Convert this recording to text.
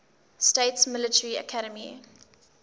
states military academy